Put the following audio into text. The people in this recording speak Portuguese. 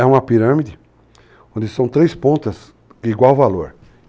É uma pirâmide onde são três pontas de igual valor.